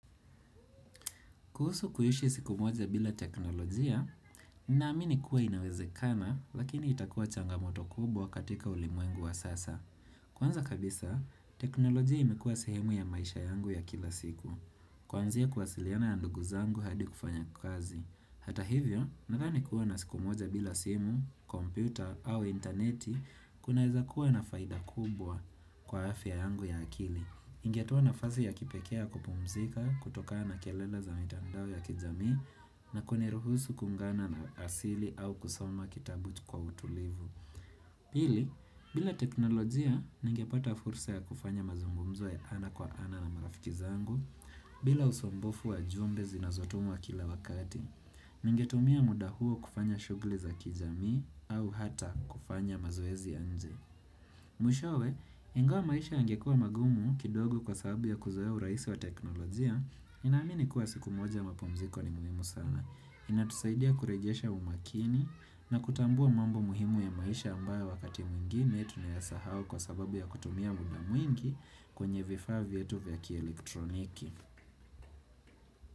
Kuhusu kuishi siku moja bila teknolojia, ninaamini kuwa inawezekana, lakini itakuwa changamoto kubwa katika ulimwengu wa sasa. Kwanza kabisa, teknolojia imekuwa sehemu ya maisha yangu ya kila siku. Kwanzia kuwasiliana na ndugu zangu hadi kufanya kazi. Hata hivyo, nadhani kuwa na siku moja bila simu, kompyuta au interneti, kunaeza kuwa na faida kubwa kwa afya yangu ya akili. Ingetoa nafasi ya kipekee ya kupumzika, kutokana kelele za mitandao ya kijamii, na kuniruhusu kuungana na asili au kusoma kitabu kwa utulivu. Pili, bila teknolojia, ningepata fursa ya kufanya mazungumzo ya ana kwa ana na marafiki zangu, bila usumbufu wa ujumbe zinazotumwa kila wakati. Ningetumia muda huo kufanya shughuli za kijamii au hata kufanya mazoezi ya nje. Mwishowe, ingawa maisha yangekuwa magumu kidogo kwa sababu ya kuzoea urahisi wa teknolojia ninamini kuwa siku moja mapumziko ni muhimu sana inatusaidia kurejesha umakini na kutambua mambo muhimu ya maisha ambayo wakati mwingine Tunayasahau kwa sababu ya kutumia muda mwingi kwenye vifaa vyetu vya kielektroniki.